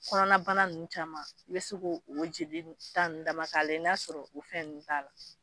Kɔnɔnabana ninnu caman i bɛ se k'o o jelita ninnu d'a ma k'a lajɛ ni y'a sɔrɔ o fɛn ninnu t'a la.